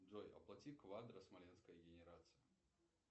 джой оплати квадро смоленская генерация